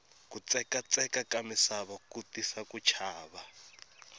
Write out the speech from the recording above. kutsekatsekaka misava ku tisa ku chava